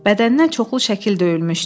Bədənin çoxlu şəkildə döyülmüşdü.